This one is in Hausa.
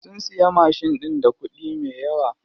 Sun siya mashin ɗin da kuɗi me yawa.